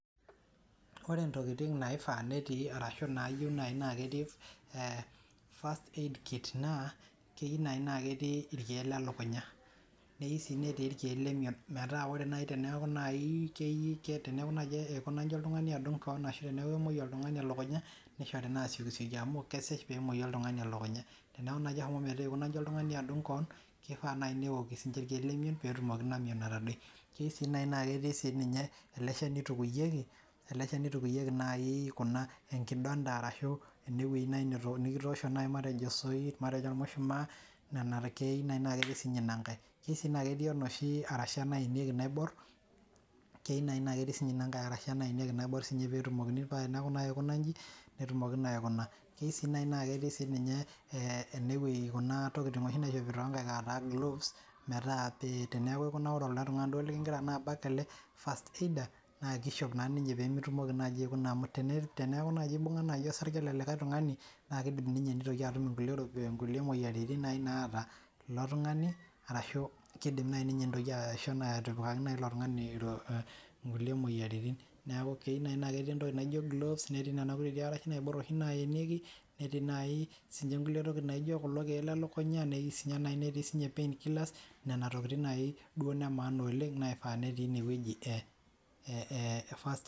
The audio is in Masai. Koree intokiting' naifaa netii arashu naayieu naji netii first aid kit naa keyiu najii naa ketii irkiek lelukunya neyiu sii netii irkiek lemion mataa ore nayii teneaku nayii ekuna oltung'ani adung' koon ashuu tenaa kemoi olltung'ani elukunya naa keishori naa asiokisioki amu kesej peemoyu oltung'ani elukunya teneeku naji eshomo metaa eikuna inji oltung'ani adung' koon keifaa nayii neoki irkiek lemion peetoki ina mion atadoi keeyiuu sii naii naa ketii sininye ele shani oitukuyieki nayii kuna enkindonta arashu enewei naai nikitoosho naayi matejo osoit matejo ormushumaa nena keiu neti sinye ina nkae keyiuu sii naa ketii enoshi arasha naenieki onoshi naiborr keyiu naii naa ketii sinye ina nkae arasha naenieki naiborr peetumoki pee eneaku naji eikuna inji netumoki naa aikuna keii sii naii naa keetii sininye enewei kuna tokiting' oshi naishopi too nkaek ataa gloves metaa teneaku ekuna ilo tung'ani duo likingira abak ele first aider naa keishop naa ninyee piikitumoki naji aikuna teneeku naji eibung'a osarge le likae tung'ani naa keidim ninye neitoki atum inkulie moyiaritin nayii naata ilo tung'ani arashu keidim nayii ninye neitokii aisho atipikaki nayi ilo tung'ani inkulie moyiaritin neeku keyiu naai netii entoki naijo gloves netii nena kutitik arash naiborr oshii nayenieki netii nayii sinche inkulie tokiting' naijo kulo kiek lelukunya netii sinye nayii netii sinye pain killers nena tokiting' nayii duo ine maana oleng' naifaa netii ine wei ee first.